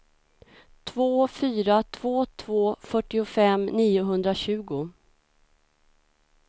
två fyra två två fyrtiofem niohundratjugo